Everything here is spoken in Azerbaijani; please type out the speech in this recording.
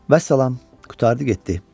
Vəssalam, qurtardı getdi.